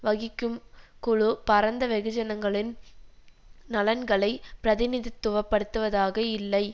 வகிக்கும் குழு பரந்த வெகுஜனங்களின் நலன்களை பிரதிநிதித்துவ படுத்துவதாக இல்லை